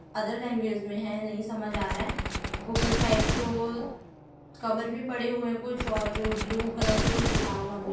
Other language में है नहीं समझ आ रहा है ऊपर साइड को कवर भी पड़े हुए है कुछ और ब्लू कलर से कुछ लिखा हुआ भी है।